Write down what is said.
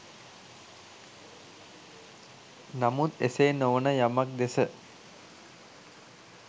නමුත් එසේ නොවන යමක් දෙස